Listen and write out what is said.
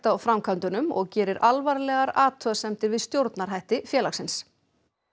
á framkvæmdunum og gerir alvarlegar athugasemdir við stjórnarhætti félagsins